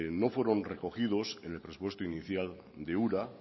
no fueron recogidos en el presupuesto inicial de ura